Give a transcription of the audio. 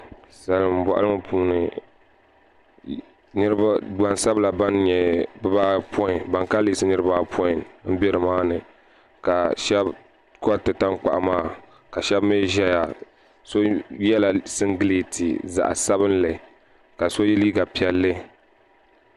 Salin boɣali ŋo puuni gbansabila ban kanli yiɣisi bibaapoin n bɛ nimaani ka shab koriti tankpaɣu maa ka shab mii ʒɛya so yɛla singirɛti zaɣ sabinli ka so yɛ liiga piɛlli